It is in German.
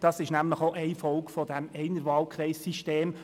Das ist nämlich eine Folge dieses Einerwahlkreis-Systems.